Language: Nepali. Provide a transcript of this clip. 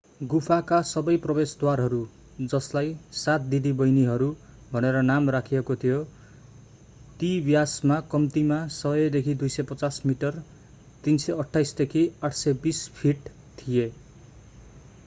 गुफाका सबै प्रवेशद्वारहरू जसलाई सात दिदीबहिनीहरू” भनेर नाम राखिएको थियो ती व्यासमा कम्तीमा 100 देखि 250 मिटर 328 देखि 820 फिट थिए।